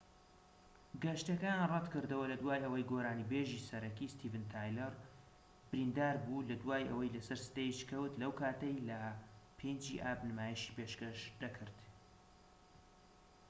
گەشتەکەیان ڕەتكردەوە لەدوای ئەوەی گۆرانی بێژی سەرەکی ستیڤن تایلەر بریندار بوو لە دوای ئەوەی لە سەر ستەیج کەوت لەو کاتەی لە 5ی ئاب نمایشی پێشکەش دەکرد